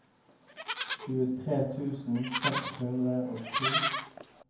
tjuetre tusen seks hundre og to